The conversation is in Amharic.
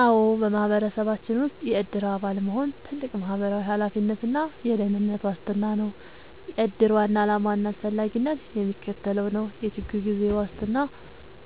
አዎ፣ በማህበረሰባችን ውስጥ የዕድር አባል መሆን ትልቅ ማህበራዊ ኃላፊነትና የደህንነት ዋስትና ነው። የዕድር ዋና ዓላማና አስፈላጊነት የሚከተለው ነው፦ የችግር ጊዜ ዋስትና፦